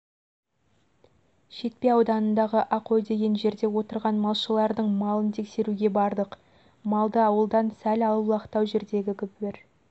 шетпе ауданындағы ақой деген жерде отырған малшылардың малын тексеруге бардық малды ауылдан сәл аулақтау жердегі бір